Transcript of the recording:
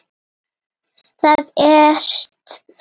Það ert þú.